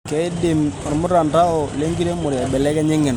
keidim olmutandao lenkiremore aibelekenya engeno